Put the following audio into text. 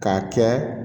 K'a kɛ